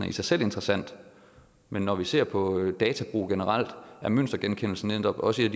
i sig selv interessant men når vi ser på databrug generelt er mønstergenkendelsen netop også et